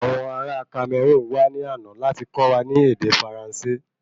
Awọn ará Cameroun wá ní àna láti kọ́ wa ní ède Faransé